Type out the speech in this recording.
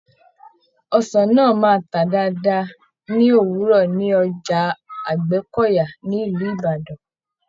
Ọsàn náà máa tà dáadáa ni òwúrọ̀ ni Ọjà Àgbẹ́kọ̀yà ni Ìlú Ìbàdàn